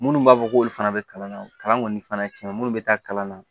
Minnu b'a fɔ k'olu fana bɛ kalan na kalan kɔni fana ye tiɲɛ minnu bɛ taa kalan na